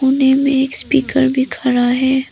कोने में एक स्पीकर भी खड़ा है।